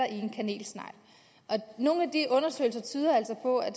en kanelsnegl og nogle af de undersøgelser tyder altså på at